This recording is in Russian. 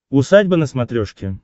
усадьба на смотрешке